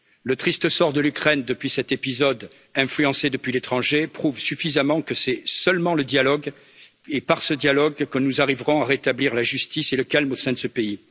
Le triste sort de l'Ukraine, depuis cet épisode influencé depuis l'étranger, prouve suffisamment que c'est par le seul dialogue que nous arriverons à rétablir la justice et le calme au sein de ce pays.